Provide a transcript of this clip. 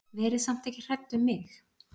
Verið samt ekki hrædd um mig.